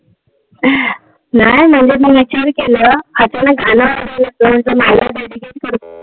नाय म्हणजे मी केलं अचानक गाण लागायला लागल.